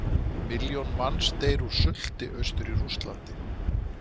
Milljón manns deyr úr sulti austur í Rússlandi.